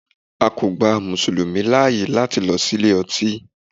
A kò gba Mùsùlùmí láyè láti lọ sí ilé ọtí.